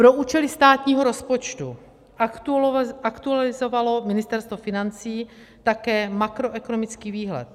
Pro účely státního rozpočtu aktualizovalo Ministerstvo financí také makroekonomický výhled.